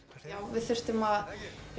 við þurftum að